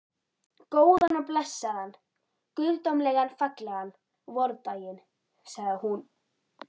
Góðan og blessaðan, guðdómlega fallegan vordaginn, sagði hún.